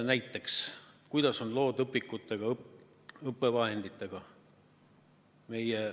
Näiteks, kuidas on lood õpikutega, õppevahenditega?